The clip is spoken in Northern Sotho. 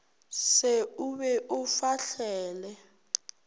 se o be o fahlele